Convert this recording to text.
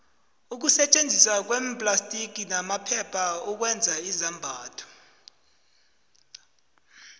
ukusetjenziswa kweemplastiki namaphepha ukwenza izambatho